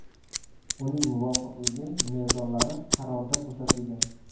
Uning muvofiqligi mezonlari qarorda ko‘rsatilgan.